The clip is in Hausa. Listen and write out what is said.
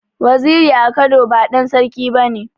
Waziri a Kano ba ɗan Sarki bane.